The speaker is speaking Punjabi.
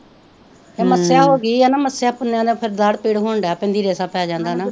ਤੇ ਮੱਸਿਆ ਹੋ ਗਈ ਤੇ ਨਾ ਮੱਸਿਆ ਪੁੰਨਿਆ ਨੂੰ ਫੇਰ ਦਾੜ੍ਹ ਪੀੜ ਹੋਣ ਡੇ ਪੈਂਦੀ ਰੇਸ਼ਾ ਪੈ ਜਾਂਦਾ ਨਾ